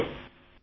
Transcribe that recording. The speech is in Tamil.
தேங்க்யூ